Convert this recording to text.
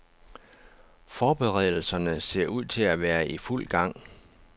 Forberedelserne ser ud til at være i fuld gang.